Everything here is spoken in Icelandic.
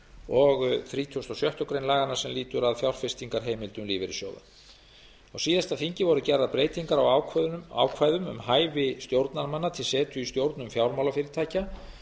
og þrítugasta og sjöttu grein laganna sem lýtur að fjárfestingarheimildum lífeyrissjóða á síðasta þingi voru gerðar breytingar á ákvæðum um hæfi stjórnarmanna til setu í stjórnum fjármálafyrirtækja